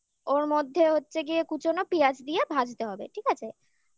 ওর মধ্যে হচ্ছে গিয়ে কুচোনো পিঁয়াজ দিয়ে ভাজতে হবে ঠিক আছে